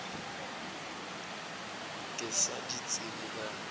ka se di tsebe ka